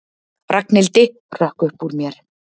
Ragnhildi, hrökk upp úr mér.